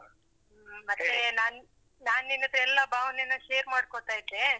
ನಾನ್, ನಾನ್ ನಿನ್ ಹತ್ರ ಎಲ್ಲ ಭಾವನೆನ್ನ share ಮಾಡ್ಕೋತಾ ಇದ್ದೇ.